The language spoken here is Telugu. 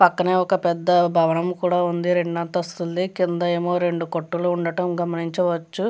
పక్కనే ఒక భవనం కూడా ఉంది రెండు అంతస్తులది. కింద ఏమో రెండు కొట్టులు ఉండటం గమనించవచ్చు.